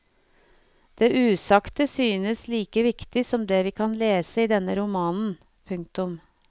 Det usagte synes like viktig som det vi kan lese i denne romanen. punktum